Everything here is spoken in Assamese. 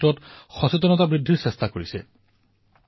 ঠিক সেইদৰে এইবাৰ আমি ভাৰত কি লক্ষ্মী শীৰ্ষক এনে অভিযান চলাম